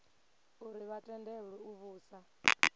uri vha tendelwe u vhusa